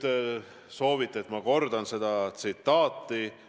Te soovite, et ma kordan seda tsitaati.